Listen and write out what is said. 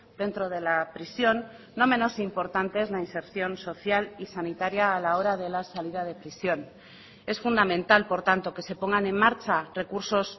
dentro de la prisión no menos importante es la inserción social y sanitaria a la hora de la salida de prisión es fundamental por tanto que se pongan en marcha recursos